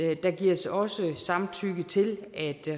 der gives også samtykke til at